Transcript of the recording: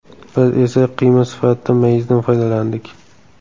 Biz esa qiyma sifatida mayizdan foydalandik.